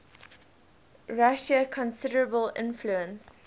russia considerable influence